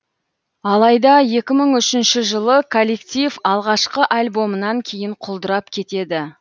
алайда екі мың үшінші жылы коллектив алғашқы альбомынан кейін құлдырап кетеді